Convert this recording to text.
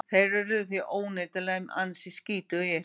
Þeir urðu því óneitanlega ansi skítugir.